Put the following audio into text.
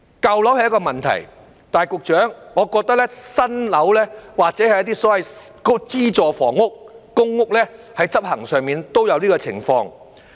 舊樓是一個問題，但是局長，我認為新樓或是一些所謂的資助房屋、公屋，在執行上都有這種情況。